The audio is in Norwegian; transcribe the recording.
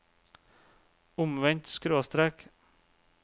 omvendt skråstrek